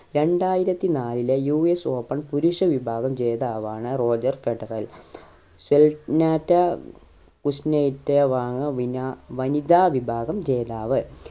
രണ്ടായിരത്തി നാലിലെ U S open പുരുഷവിഭാഗം ജേതാവാണ് റോജർ ഫ്രഡറൽ കുസ്‌നെറ്സോവ ആണ് വിനാ വനിതാ വിഭാഗം ജേതാവ്